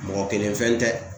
Mɔgɔ kelen fɛn tɛ .